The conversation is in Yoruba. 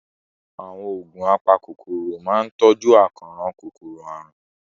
Àwọn oògùn apakòkòrò máa ń tọ́jú àkóràn kòkòrò àrùn.